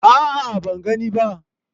a'a ban gani ba